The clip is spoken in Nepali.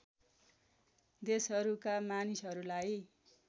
देशहरूका मानिसहरूलाई